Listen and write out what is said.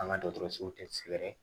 An ka dɔgɔtɔrɔsow tɛ sɛgɛrɛ